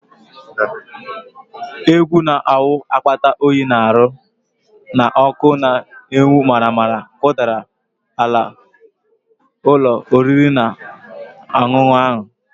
Egwu na-awụ akpata oyi n'ahụ na ọkụ na-enwu maramara kụdara ala ụlọ oriri na ọṅụṅụ ahụ